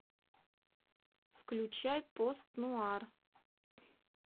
включай пост нуар